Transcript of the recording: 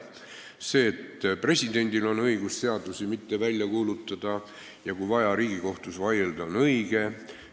See, et presidendil on õigus seadusi mitte välja kuulutada ja kui vaja, Riigikohtus vaielda, on õige.